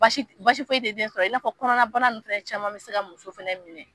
Basi basi foyi te den sɔrɔ i'n'a fɔ kɔnɔnabana nunnu filɛ caman bi se ka muso fana minɛ